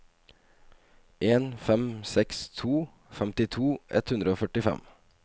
en fem seks to femtito ett hundre og førtifem